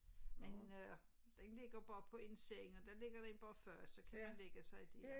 Men øh den ligger bare på ens sengen og den ligger der inde bare før så kan man lægge sig der